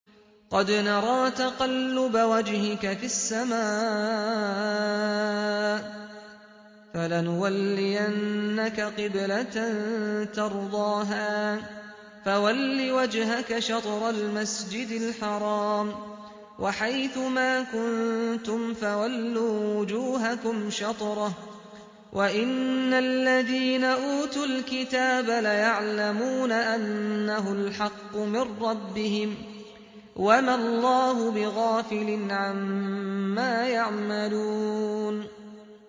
قَدْ نَرَىٰ تَقَلُّبَ وَجْهِكَ فِي السَّمَاءِ ۖ فَلَنُوَلِّيَنَّكَ قِبْلَةً تَرْضَاهَا ۚ فَوَلِّ وَجْهَكَ شَطْرَ الْمَسْجِدِ الْحَرَامِ ۚ وَحَيْثُ مَا كُنتُمْ فَوَلُّوا وُجُوهَكُمْ شَطْرَهُ ۗ وَإِنَّ الَّذِينَ أُوتُوا الْكِتَابَ لَيَعْلَمُونَ أَنَّهُ الْحَقُّ مِن رَّبِّهِمْ ۗ وَمَا اللَّهُ بِغَافِلٍ عَمَّا يَعْمَلُونَ